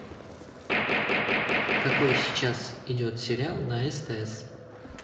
какой сейчас идет сериал на стс